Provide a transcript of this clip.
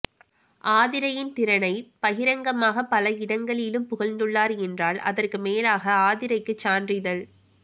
ஆதிரையின் திறனைப் பகிரங்கமாகப் பல இடங்களிலும் புகழ்நதுள்ளார் என்றால் அதற்குமேலாக ஆதிரைக்குச் சான்றிதழ்